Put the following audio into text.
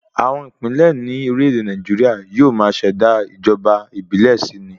Àwọn ìpínlẹ̀ ní orílẹ̀ èdè Nàìjíríà yóò máa ṣẹ̀dá ìjọba ìbílẹ̀ si ni